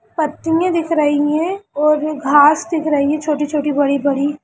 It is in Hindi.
पत्तियाँ दिख रही है और घास दिख रही है छोटी छोटी बड़ी बड़ी।